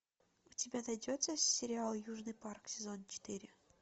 у тебя найдется сериал южный парк сезон четыре